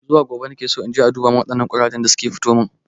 Zuwa gobe nakeso inje a duba min waɗannan ƙurajen da suka fitomin